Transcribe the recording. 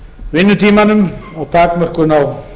vinnutímanum og takmörkun á